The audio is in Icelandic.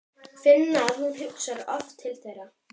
Finna að hún hugsar oft til þeirra.